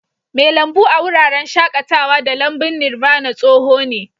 Mai lambu a wuraren shakatawa da lambun Nirvana tsoho ne.